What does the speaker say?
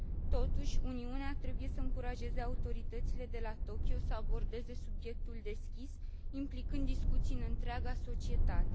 Totuși, Uniunea trebuie să încurajeze autoritățile de la Tokyo să abordeze subiectul deschis, implicând discuții în întreaga societate.